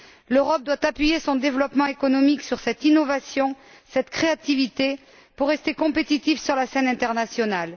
L'Europe doit appuyer son développement économique sur cette innovation et cette créativité pour rester compétitive sur la scène internationale.